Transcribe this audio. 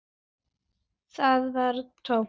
Það var tómt.